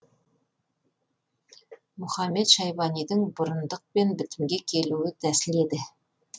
мұхамед шайбанидың бұрындықпен бітімге келуі тәсіл еді